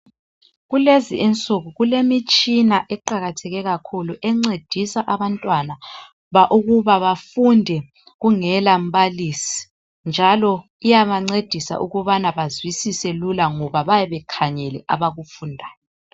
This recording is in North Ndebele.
Kulezi insuku kulemitshina eqakatheke kakhulu encedisa abantwana ukuba bafunde kungela mbalisi. Njalo iyancedisa ukubana bazwisise lula ngoba bayabe bekhangele abakufundayo.